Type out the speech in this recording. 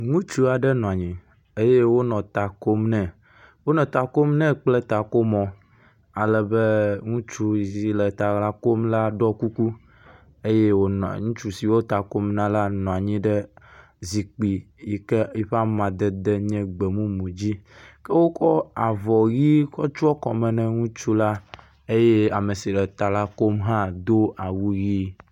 Ŋutsu aɖe nɔ anyi eye wonɔ ta kom ne. Wonɔ ta kom nɛ kple takomɔ ale be ŋutsuvi le ta kom la ɖɔ kuku eye wonɔ ŋutsu si wo ta kom na la nɔ anyi ɖe zikpui yi ke eƒe amadede nye gbemumu dzi ke wokɔ avɔ ʋi tsɔ kɔme ne ŋutsu la eye ame si le ta la kom hã do awu ʋi.